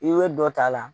I bɛ dɔ ta a la